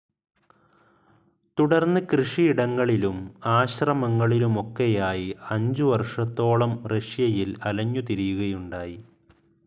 തുടർന്ന് കൃഷിയിടങ്ങളിലും, ആശ്രമങ്ങളിലുമൊക്കെയായി അഞ്ചുവർഷത്തോളം റഷ്യയിൽ അലഞ്ഞുതിരിയുകയുണ്ടായി.